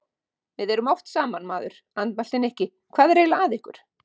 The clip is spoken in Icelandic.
Við erum oft saman, maður andmælti Nikki, hvað er eiginlega að ykkur?